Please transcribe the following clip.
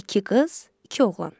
İki qız, iki oğlan.